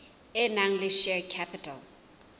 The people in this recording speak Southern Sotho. e nang le share capital